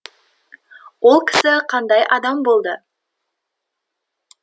ол кісі қандай адам болды